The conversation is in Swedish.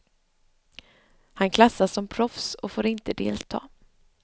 Han klassas som proffs och får inte delta.